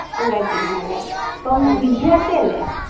സുഖായിട്ടിരിക്ക്ണല്ലേ ഇപ്പം വിദ്യാർത്ഥിയല്ലെ